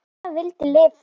Hann vildi lifa.